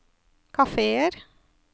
kafeer